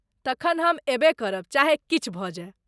तखन हम अयबे करब चाहे किछु भऽ जाय।